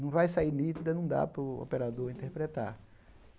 não vai sair nítida, não dá para o operador interpretar.